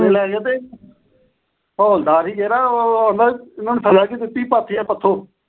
ਥਾਣੇ ਲੈ ਗਏ ਤੇ ਹੌਲਦਾਰ ਸੀ ਜਿਹੜਾ, ਉਹਨੇ ਸਜਾ ਕੀ ਦਿੱਤੀ ਪਾਥੀਆਂ ਪਥੋ।